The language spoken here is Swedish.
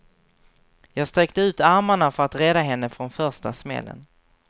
Jag sträckte ut armarna för att rädda henne från första smällen.